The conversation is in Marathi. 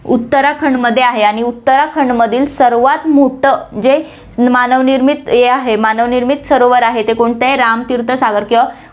उत्तरखंडमध्ये आहे आणि उत्तराखंडमधील सर्वात मोठं जे मानव निर्मित हे आहे, मानव निर्मित सरोवर आहे, ते कोणतं आहे, राम तीर्थ सागर किंवा